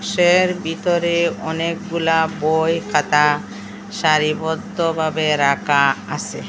এর ভিতরে অনেকগুলা বই খাতা সারিবদ্ধভাবে রাখা আসে।